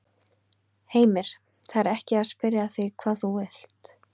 Heimir: Það er ekki að spyrja að því hvað þú vilt?